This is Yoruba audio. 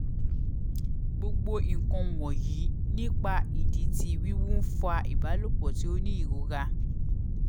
gbogbo nkan wọnyi nipa idi ti wiwu nfa ibalopọ ti o ni irora